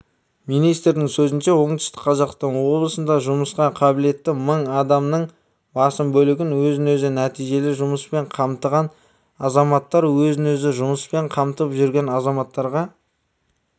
министрдің сөзінше оңтүстік қазақстан облысында жұмысқа қабілетті мың адамның басым бөлігі өзін-өзі нәтижелі жұмыспен қамтыған азаматтар өзін-өзі жұмыспен қамтып жүрген азаматтарға